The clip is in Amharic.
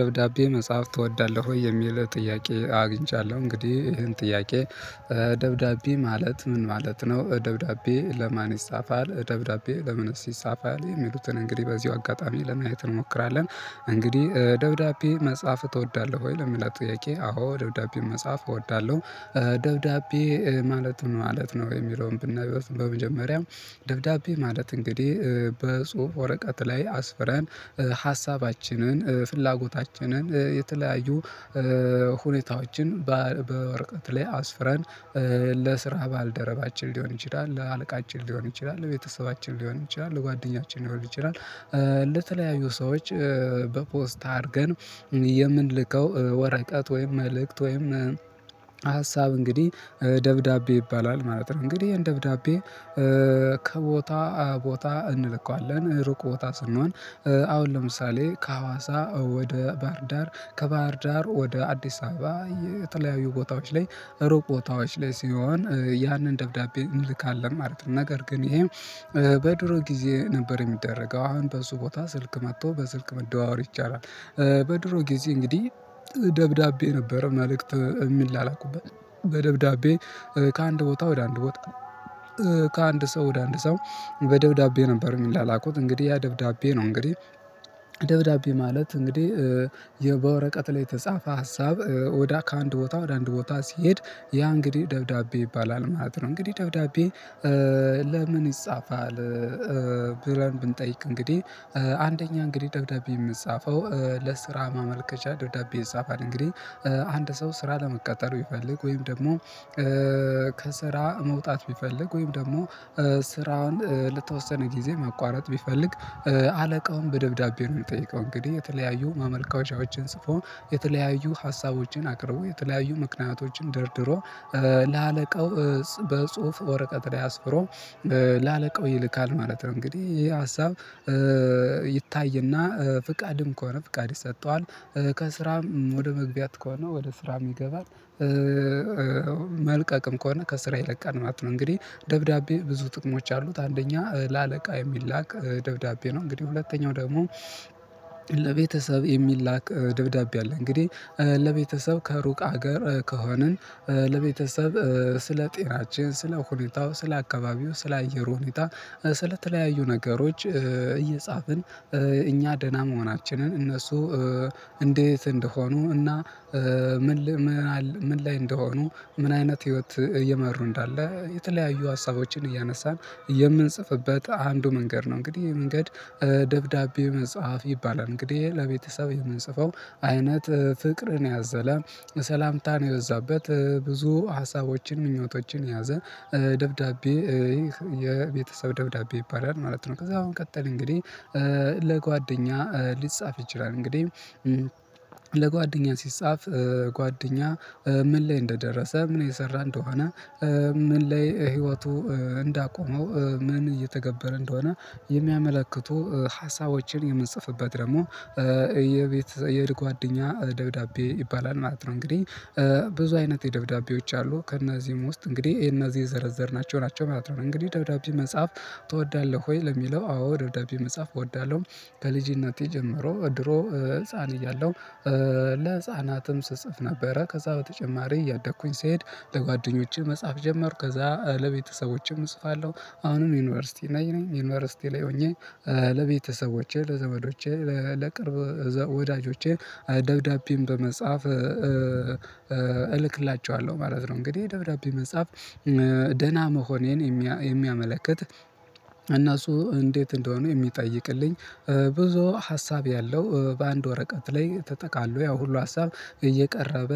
ደብዳቤ መጽሐፍ ትወዳለህ ወይ? የሚል ጥያቄ አግኝቻለሁ እንግዲህ ይሄን ጥያቄ? ደብዳቤ ማለት ምን ማለት ነው። በደብዳቤ ለማን ይፃፋል ደብዳቤ ለምንስ ይፃፋል? የሚሉትን እንግዲህ በዚሁ አጋጣሚ ለማየት እንሞክራለን። እንግዲህ ደብዳቤ መጽሐፍ ትወዳለህ ወይ ለምላት ጥያቄ አዎ ደብዳቤ መጽሐፍ እወዳለሁ። ማለት ምንማለት ነው የሚለውን ብናየው በመጀመሪያው ደብዳቤ ማለት እንግዲህ በጽሁፍ ወረቀት ላይ አስፍረን ሀሳባችንን ፍላጎታችንን የተለያዩ ሁኔታዋችን አስፍረን ባልደረባችን ሊሆን ይችላል ለአለቃችን ሊሆን ይችላል ለቤተሰባችን ሊሆን ይችላል ለጓደኛችን ሊሆን ይችላል። ለተለያዩ ሰዎች በፖስታ አድርገን የምንልከው ወረቀት ወይም መልእክት ወይም ሀሳብ እንግዲህ ደብዳቤ ይባላል ማለት ነው። እንግዲህ የህን ደብዳቤ ከቦታ ቦታ እንልካዋለን ሩቅ ቦታ ስንሆን አሁን ለምሳሌ ከሀዋሳ ወደ ባህር ዳር ከባህር ዳር ወደ አዲስ አበባ የተለያዩ ቦታዎች ላይ ሩቅ ቦታዎች ላይ ሲሆን ያንን ደብዳቤ እንልካለን ማለት ነው። ነገር ግን ይሄም በድሮ ጊዜ ነበር የሚደረገው አሁን በሱ ቦታ ስልክ መጥቶ በስልክ መደዋወል ይቻላል። በድሮ ጊዜ እንግዲህ ደብዳቤ ነበረ መልእክት እሚላክበት በደብዳቤ ከአንድ ቦታ ወደ አንድ ቦታ ከአንድ ሰው ወደ አንድ ሰው በደብዳቤ ነበር የሚላላኩት እንግዲህ ያ ደብዳቤ ነው። እንግዲህ ደብዳቤ ማለት እንግዲህ በወረቀት ላይ የተጻፈ ሀሳብ ወደ ከአንድ ቦታ ወደ አንድ ቦታ ሲሄድ ያ እንግዲህ ደብዳቤ ይባላል ማለት ነው። እንግዲህ ደብዳቤ ለምን ይጻፋል? ብለን ብንጠይቅ እንግዲህ አንደኛ እንግዲህ ደግዳቢ የምጻፈው ለስራ ማመልከቻ ደብዳቤ ይጻፋል እንግዲህ አንድ ሰው ስራ ለመቀጠር ቢፈልግ ወይም ደግሞ ከስራ መውጣት ቢፈልግ ወይም ደግሞ ስራውን ለተወሰነ ጊዜ ማቋረጥ ቢፈልግ አለቃውን በደብዳቤ ነው የሚጠይቀው እንግዲህ የተለያዩ ማመልከቻዎችን ጽፎ የተለያዩ ሀሳቦችን አቅርቦ የተለያዩ ምክንያቶችን ደርድሮ ለአለቃው በጽሁፍ ወረቀት ላይ አስፍሮ ላለቀው ይልካል ማለት ነው። እንግዲህ ይሄ ሀሳብ ይታይና ፍቃድም ከሆነ ፍቃድ ይሰጠዋል ከስራም ወደ መግቢያት ከሆነ ወደ ስራም ይገባል መልቀቅም ከሆነ ከስራ ይለቃል ማለት ነው። እንግዲህ ደብዳቤ ብዙ ጥቅሞች አሉት አንደኛ ለአለቃ የሚላክ ደብዳቤ ነው እንግዲህ ሁለተኛው ደግሞ ለቤተሰብ የሚላክ ደብዳቤ አለ። እንግዲህ ለቤተሰብ ከሩቅ ሀገር ከሆንን ለቤተሰብ ስለ ጤናችን ስለ ሁኔታው ስለ አካባቢው ስለ አየሩ ሁኔታ ስለ ተለያዩ ነገሮች እየጻፍን እኛ ደህና መሆናችንን እነሱ እንዴት እንደሆኑ እና ምን ምን ላይ እንደሆኑ ምን አይነት ህይወት እየመሩ እንዳለ የተለያዩ ሀሳቦችን እያነሳን የምንጽፍበት አንዱ መንገድ ነው። እንግዲህ ይሄ መንገድ ደብዳቤ መጽሐፍ ይባላል እንግዲህ ለቤተሰብ የምንጽፈው አይነት ፍቅርን ያዘለ ሰላምታን የበዛበት ብዙ ሀሳቦችን ምኞቶችን የያዘ ደብዳቤ ይህ የቤተሰብ ደብዳቤ ይባላል ማለት ነው። ከዛ በመቀጠልን እንግዲህ ለጓደኛ ሊጻፍ ይችላል እንግዲህ ለጓደኛ ሲጻፍ ጓደኛ ምን ላይ እንደደረሰ ምን የሰራ እንደሆነ ምን ላይ ህይወቱ እንዳቆመው ምን እየተገበረ እንደሆነ የሚያመለክቱ ሀሳቦችን የምንጽፍበት ደግሞ የቤት የጓደኛ ደብዳቤ ይባላል ማለት ነው። እንግዲህ ብዙ አይነት የደብዳቤዎች አሉ ከእነዚህም ውስጥ እንግዲህ ይሄን እነዚህ የዘረዘርናቸው ናቸው ማለት ነው። እንግዲህ ደብዳቤ መጽሐፍ ትወዳለህ ወይ? ለሚለው አዎ ደብዳቤ መጽሐፍ እወዳለሁ። ከልጅነቴ ጀምሮ ድሮ ህፃን እያለሁ ለህፃናትም ስጽፍ ነበረ ከዛ በተጨማሪ እያደኩኝ ሲሄድ ለጓደኞቼ መጽሐፍ ጀመሩ ከዛ ለቤተሰቦችም እጽፋለሁ አሁንም ዩኒቨርሲቲ ነኝ ነኝ ዩኒቨርሲቲ ላይ ሆኜ ለቤተሰቦቼ ለዘመዶቼ ለቅርብ ወዳጆቼ ደብዳቤም በመጽሐፍ እልክላቸዋለሁ ማለት ነው። እንግዲህ ደብዳቤ መጻፍ ደህና መሆኔን የሚያመለክት እነሱ እንዴት እንደሆኑ የሚጠይቅልኝ ብዙ ሀሳብ ያለው በአንድ ወረቀት ላይ ተጠቃሎ ያው ሁሉ ሀሳብ እየቀረበ